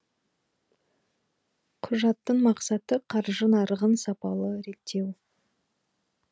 құжаттың мақсаты қаржы нарығын сапалы реттеу